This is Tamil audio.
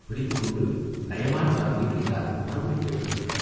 பிடித்துக் கொண்டு நயமான வார்த்தைகளினால் மறுபடி கேட்க வேண்டும்.